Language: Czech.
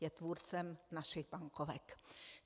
Je tvůrcem našich bankovek.